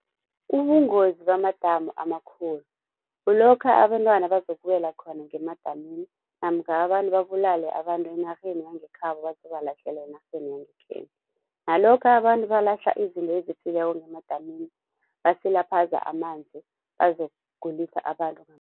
Ubungozi bamadamu amakhulu, kulokha abentwana bazokuwela khona ngemadamini namkha abantu babulale abantu enarheni yangekhabo bazobalahlela enarheni yangekhenu. Nalokha abantu balahla izinto ezifileko ngemadamini basilaphaza amanzi bazokugulisa abantu